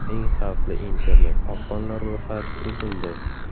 Eng xavfli internet-qopqonlar ro‘yxati tuzildi.